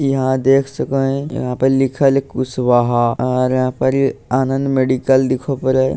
इ यहां देख सकें हेय यहां पर लिखल हेय कुशवाहा और यहां पर आनंद मेडिकल दिखो पड़े हेय।